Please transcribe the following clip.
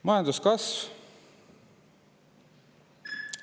Majanduskasv.